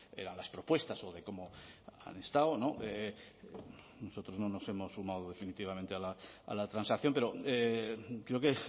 eran las propuestas o de cómo han estado nosotros no nos hemos sumado definitivamente a la transacción pero creo que